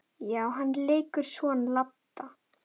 Já, hann leikur son Ladda.